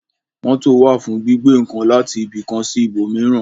Mótò wà fún gbígbé ǹkan láti ibi kan sí ibò míràn